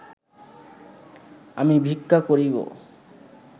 আমি ভিক্ষা করিব